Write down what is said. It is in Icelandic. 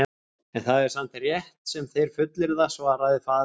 En það er samt rétt sem þeir fullyrða, svaraði faðir hans.